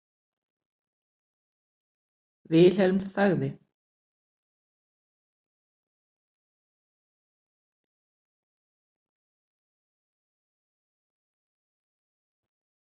Vilhelm þagði.